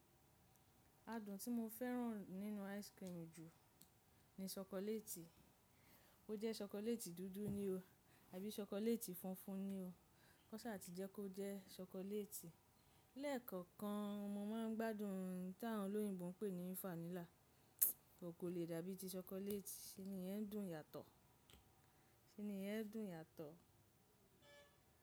Adùn tí mo fẹ́ràn nínú ice cream jù ní ṣokoléètì, ó jẹ́ ṣokoléètì dúdú ni o àbí ṣokoléètì funfun ni o, koṣà ti jẹ́ kó jẹ́ ṣokoléètì. Lẹ́ẹ̀kọ̀kan mo máa ń gbádùn táwọn olóyìnbo ń pè ní vanilla, but kò le dàbí ì ti ṣokoléètì, ṣe ni iyẹn dùn yàtọ̀, ṣe ni iyẹn dùn yàtọ̀.